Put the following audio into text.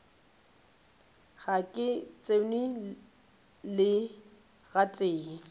ga ke tsenwe le gatee